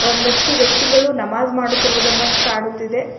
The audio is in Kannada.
ಒಂದಷ್ಟು ವ್ಯಕ್ತಿಗಳು ನಮಾಜ್ ಮಾಡುತ್ತಿರುವುದನ್ನ ಕಾಣುತ್ತಿದೆ.